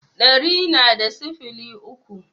Ɗari na da sifili uku